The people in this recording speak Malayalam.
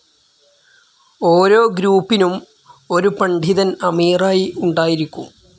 ഓരോ ഗ്രൂപ്പിനും ഒരു പണ്ഡിതൻ അമീറായി ഉണ്ടായിരിക്കും.